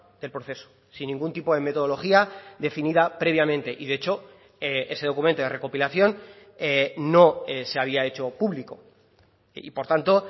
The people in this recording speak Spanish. del proceso sin ningún tipo de metodología definida previamente y de hecho ese documento de recopilación no se había hecho público y por tanto